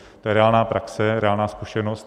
To je reálná praxe, reálná zkušenost.